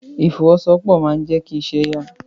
Ìfọwọ́sowọ́pọ̀ máa n jẹ kí iṣẹ́ ya.